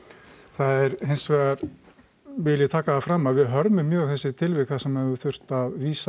það er hins vegar vil ég taka það fram að hörmum mjög þessi tilvik þar sem hefur þurft að vísa